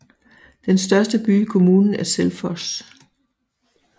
Den største by i kommunen er Selfoss